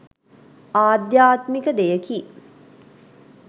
ආධ්‍යාත්මික දෙයකි.